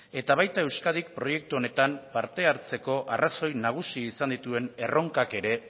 eta baita euskadik proiektu honetan parte hartzeko arrazoi nagusi izan dituen erronkak ere